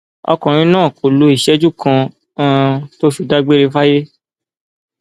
ọkùnrin náà kò lo ìṣẹjú kan um tó fi dágbére fáyé